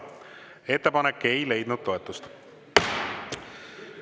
Ettepanek ei leidnud toetust.